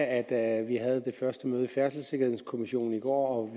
at vi havde det første møde i færdselssikkerhedskommissionen i går